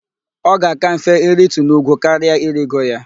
Ọ ga-aka mfe iritu n'úgwú karỊa irigo ya.